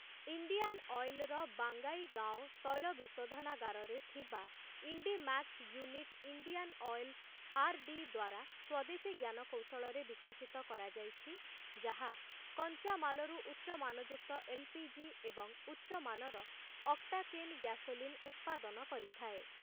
Indian ଅଏଲର ବଙ୍ଗାଇଗାଓଁ ତୈଳ ବିଶୋଧନାଗାରରେ ଥିବା Indmax unit Indian oil R D ଦ୍ୱାରା ସ୍ୱଦେଶୀ ଜ୍ଞାନକୌଶଳରେ ବିକଶିତ କରାଯାଇଛି ଯାହା କଞ୍ଚାମାଲରୁ ଉଚ୍ଚ ମାନଯୁକ୍ତ ଏଲ୍ ପି ଜି ଏବଂ ଉଚ୍ଚ ମାନର ଅକ୍ଟାକେନ ଗ୍ୟାସୋଲିନ ଉତ୍ପାଦନ କରିଥାଏ ।